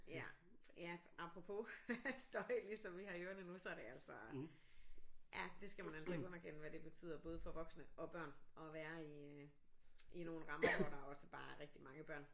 Ja ja apropos støj ligesom vi har i ørerne nu så er det altså ja det skal man altså ikke underkende hvad det betyder både for voksne og børn at være i øh i nogle rammer hvor der også bare er rigtig mange børn